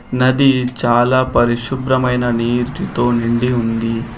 నది చాలా పరిశుభ్రమైన నీర్టితో నిండి ఉంది.